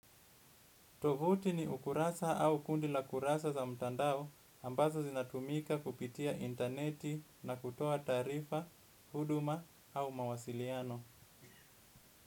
Tovuti ni ukurasa au kundi la kurasa za mtandao ambazo zinatumika kupitia interneti na kutoa tarifa, huduma au mawasiliano.